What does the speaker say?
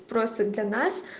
просто для нас